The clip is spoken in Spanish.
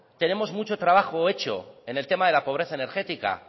tenemos mucho trabajo hecho en el tema de la pobreza energética